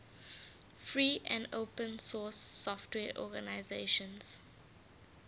free and open source software organizations